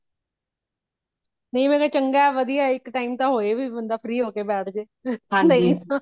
ਨਹੀਂ ਮੈ ਕਿਹਾ ਚੰਗਾ ,ਵਾਦੀਆਂ ਏ ਇਕ time ਤੇ ਹੋਈ ਵੀ ,ਬੰਦਾ free ਹੋ ਕੇ ਬੈਠ ਜਾਏ।